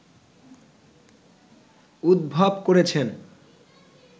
উদ্ভব করেছেন